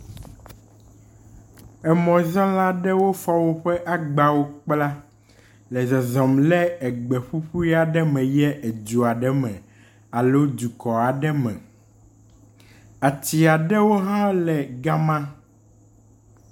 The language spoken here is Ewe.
Emɔzala aɖewo fɔ woƒe agbawo kpla le zɔzɔm le egbeƒuƒui aɖe me eyie edu aɖe me alo dukɔ aɖe me. Ati aɖewo hã le ga ma.